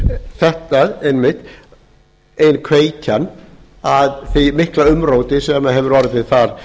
er þetta einmitt ein kveikjan að því mikla umróti sem hefur orðið þar